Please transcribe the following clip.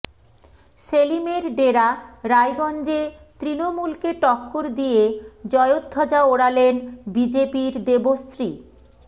সেলিমের ডেরা রায়গঞ্জে তৃণমূলকে টক্কর দিয়ে জয়ধ্বজা ওড়ালেন বিজেপির দেবশ্রী